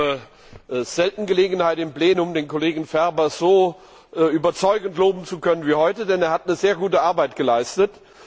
Ich habe selten Gelegenheit, im Plenum den Kollegen Ferber so überzeugend loben zu können wie heute, denn er hat sehr gute Arbeit geleistet.